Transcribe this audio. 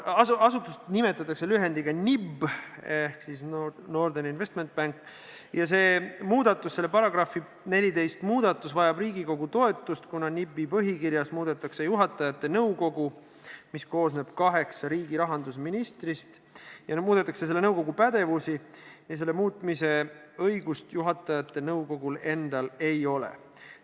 Asutust nimetatakse lühendiga NIB, st Norden Investment Bank, ja see muudatus, § 14 muutmine, vajab Riigikogu toetust, kuna NIB-i põhikirjas muudetakse juhatajate nõukogu, mis koosneb kaheksa riigi rahandusministrist, pädevust ja selle muutmise õigust juhatajate nõukogul endal ei ole.